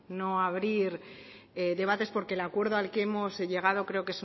no abrir debates porque el acuerdo al que hemos llegado creo